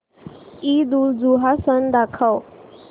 ईदउलजुहा सण दाखव